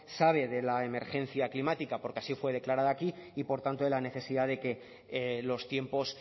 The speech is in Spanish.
sabe de la emergencia climática porque así fue declarada aquí y por tanto de la necesidad de que los tiempos